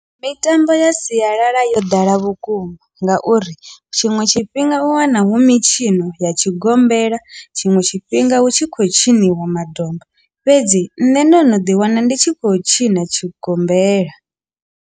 Mitambo ya sialala yo ḓala vhukuma ngauri tshiṅwe tshifhinga u wana hu mitshino ya tshigombela tshiṅwe tshifhinga hu tshi khou tshiniwa madomba fhedzi nṋe ndo no ḓi wana ndi tshi khou tshina tshigombela.